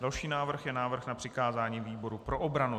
Dalším návrhem je návrh na přikázání výboru pro obranu.